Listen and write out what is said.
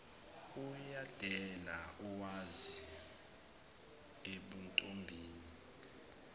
uyadela omazi ebuntombini